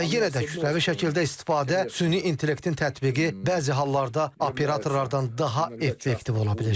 Və yenə də kütləvi şəkildə istifadə süni intellektin tətbiqi bəzi hallarda operatorlardan daha effektiv ola bilir.